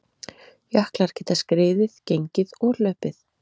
Jöklar geta skriðið, gengið og hlaupið.